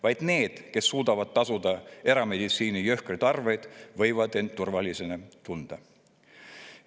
Vaid need, kes suudavad tasuda erameditsiini jõhkraid arveid, võivad end turvaliselt tunda.